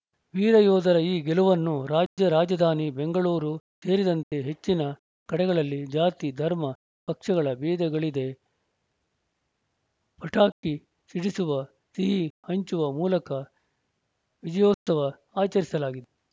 ವೀರಯೋಧರ ಈ ಗೆಲುವನ್ನು ರಾಜ್ಯ ರಾಜಧಾನಿ ಬೆಂಗಳೂರು ಸೇರಿದಂತೆ ಹೆಚ್ಚಿನ ಕಡೆಗಳಲ್ಲಿ ಜಾತಿ ಧರ್ಮ ಪಕ್ಷಗಳ ಭೇದಗಳಿದೆ ಪಟಾಕಿ ಸಿಡಿಸುವ ಸಿಹಿ ಹಂಚುವ ಮೂಲಕ ವಿಜಯೋತ್ಸವ ಆಚರಿಸಲಾಗಿದೆ